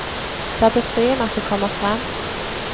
Det er befriende at det kommer frem.